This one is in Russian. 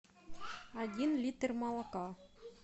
один литр молока